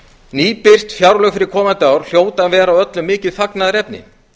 nýbirt fjárlög fyrir komandi ár hljóta að vera öllum mikið fagnaðarefni